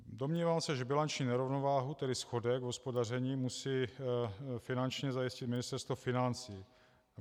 Domnívám se, že bilanční nerovnováhu, tedy schodek v hospodaření, musí finančně zajistit Ministerstvo financí.